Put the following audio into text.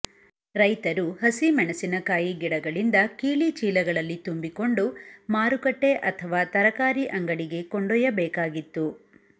ರೈತರು ಹಸಿಮೆಣಸಿನಕಾಯಿ ಗಿಡಗಳಿಂದ ಕೀಳಿ ಚೀಲಗಳಲ್ಲಿ ತುಂಬಿಕೊಂಡು ಮಾರುಕಟ್ಟೆ ಅಥವಾ ತರಕಾರಿ ಅಂಗಡಿಗೆ ಕೊಂಡೊಯ್ಯಬೇಕಾಗಿತ್ತು